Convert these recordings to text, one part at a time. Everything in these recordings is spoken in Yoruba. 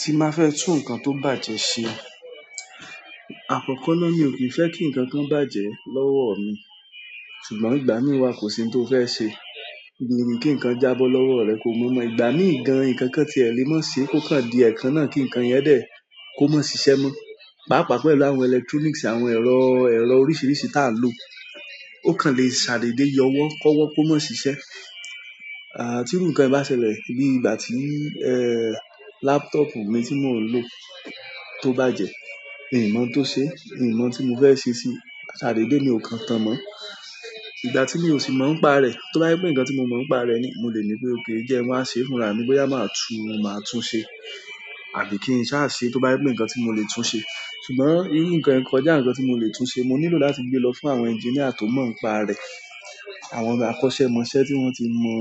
Ti n ba fẹ́ tún nǹkan tó bàjẹ́ ṣe, àkọ́kọ́ náà mi ò kí ń fẹ́ kí nǹkankan bàjẹ́ lọ́wọ́ mi. Ṣùgbọ́n ìgbà mìí wa kò sí n tí o fẹ́ ṣe. Bí ru kí nkán jábọ́ lọ́wọ́ rẹ kó mọ̀ọ́mọ̀. Ìgbà mii gan, nkankan ti e le mo se ko kan di ekan náà ki nkan yen de, ko ma sise mo páápàá pẹ̀lú àwọn electronics àwọn ẹ̀rọ, ẹ̀rọ oríṣìíríṣìí ta ń lò ó kan le ṣàdèdè yọ ọwọ́ kọ́wọ́ kó mo ṣiṣẹ́. À tí ru ǹkan yi bá ṣẹlẹ̀ bí ìgbà tí ẹ laptop mi tí mò ń lò tó bàjẹ́, mi mọ̀ n tó ṣe, mi mọ̀ o n tí mo fẹ́ ṣe síi, ṣàdèdè ni ò kàn tán mọ́. Ìgbà tí mi ò sì mọ̀ ń pa rẹ̀, tó bá je pé nǹkan tí mo mọ̀ ń pa rẹ̀ ni, mo lè ní pé òké jẹ́ n wá ṣe fún ra mi boyá máa tún, máa tún ṣe àbí kí n sá ṣe tó bá je pé nǹkan tí mo lè tún ṣe. Ṣùgbọ́n irú nǹkan yìí kọjá nǹkan tí mo lè tún ṣe. Mo nílò láti gbé lọ fún àwọn engineer tó mọ̀ ń pa rẹ̀. Àwọn akọ́ṣẹ́mọṣẹ́ tí wọ́n ti mọ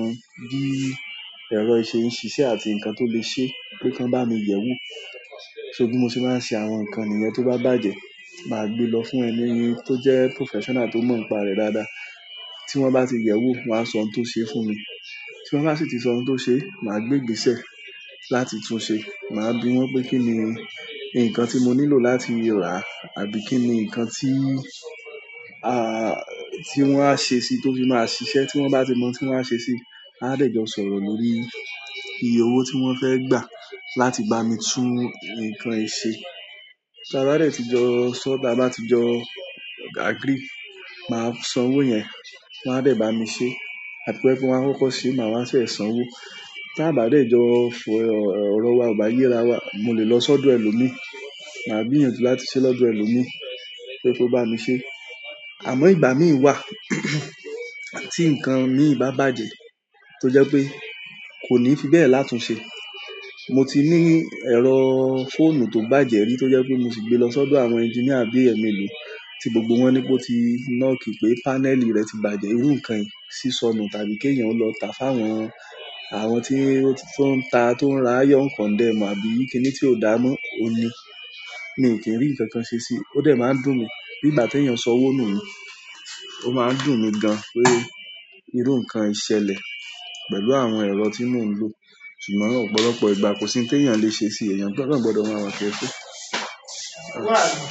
bí ẹ̀rọ yìí se ń ṣiṣẹ́ àti nǹkan tó lè ṣe pé kàn bá mi yẹ̀ wo. So bí mo ṣe máa ń ṣe àwọn nǹkan nìyẹn tó bá bàjẹ́, màá gbé lọ fún ẹni tí ó jẹ́ professional tó mọ̀ ń pa rẹ̀ dáadáa. Tí wọ́n bá ti yẹ̀ ẹ́ wo, wọ́n á sọ n tó ṣe fún mi. Tí wọ́n bá sì ti sọ n tó ṣe, màá gbé gbèsè láti tún ṣe. Màá bi wọ́n pé kíni nǹkan tí mo nílò láti rà àbí kíni nǹkan tí a, tí wọ́n á ṣe sí i tó fi máa ṣiṣẹ́ tí wọ́n bá ti mọ tí wọ́n á ṣe sí i. A dẹ̀ jọ sọ̀rọ̀ lórí iye owó tí wọ́n fẹ́ gbà láti bá mi tún nǹkan yìí ṣe. Ta bá dè tí jọ ṣọ, ta bá ti jọ agree, màá san owó yẹn, wọ́n á dẹ̀ bá mi ṣe. Bo je wípé won a koko se maa wa san wo. Ta bá dè jọ fọ̀, ọ̀rọ̀ wa ò bá yẹra wa, mo lè lọ sọ́dọ̀ ẹlòmíì, màá gbiyan ju láti ṣe lọ́dọ̀ ẹlòmíì pé kó bá mi ṣe. Àmọ́ ìgbà mìí wà tí nǹkan mi ì bá bàjẹ́ tó jẹ́ pé kò ní fi bẹ́ẹ̀ látun ṣe. Mo ti ní ẹ̀rọ fóònù tó bàjẹ́ rí tó jẹ́ pé mo sì gbé lọ sọ́dọ̀ àwọn engineer bí ẹ̀mẹlò tí gbogbo wọn ni pé ó ti knock pé panel rẹ̀ ti bàjẹ́. Irú nǹkan yi ṣíṣọnù tàbí kí èèyàn lọ tá fún àwọn, àwọn tí ó ti to ń ta, tó ń ra iron condemn àbí kíni tí ó dàá mọ́ o ni. Mi kí n rí nǹkan kan ṣe sí i. Ó dẹ̀ máa ń dùn mí bí ìgbà pe èèyàn san owó nu ni, ó máa ń dùn mi gan pé irú nǹkan ì ṣẹlẹ̀ pẹ̀lú àwọn ẹ̀rọ tí mò ń lò. Ṣùgbọ́n ọ̀pọ̀lọpọ̀ ìgbà kò sí n tèèyàn lè ṣe sí i, ẹ̀yàn gbọdọ̀ máa wà careful.